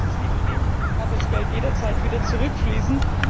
Sollte es dieses nicht geben, kann das Geld jederzeit wieder zurückfließen.